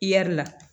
I ya la